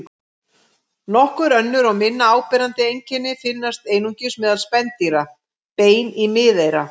Nokkur önnur og minna áberandi einkenni finnast einungis meðal spendýra: Bein í miðeyra.